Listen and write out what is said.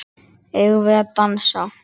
Eigum við að dansa?